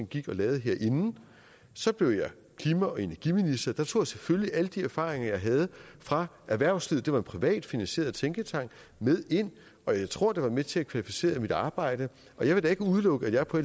gik og lavede herinde så blev jeg klima og energiminister der tog jeg selvfølgelig alle de erfaringer jeg havde fra erhvervslivet det var en privatfinansieret tænketank med ind og jeg tror det var med til at kvalificere mit arbejde og jeg vil da ikke udelukke at jeg på